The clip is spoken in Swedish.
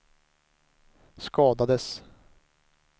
skadades